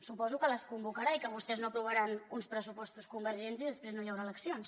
suposo que les convocarà i que vostès no aprovaran uns pressupostos convergents i després no hi haurà eleccions